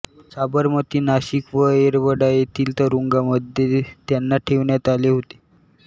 साबरमती नाशिक व येरवडा येथील तुरुंगांमध्ये त्यांना ठेवण्यात आले होते